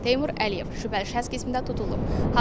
Teymur Əliyev şübhəli şəxs qismində tutulub.